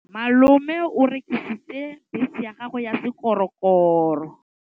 Malome o rekisitse bese ya gagwe ya sekgorokgoro.